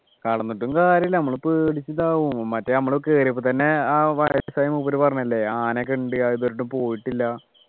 കടന്നിട്ടും കാര്യമില്ല നമ്മൾ പേടിച്ച് ഇതാവും മറ്റ് നമ്മൾ കേറിയപ്പോ തന്നെ ആ വയസ്സായ മൂപ്പര് പറഞ്ഞല്ലേ ആനയൊക്കെ ഉണ്ട് ആരും ഇതുവരെയായിട്ടും പോയിട്ടില്ല